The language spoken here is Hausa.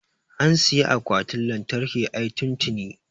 an siyi akwatin lantarkin ai tun tini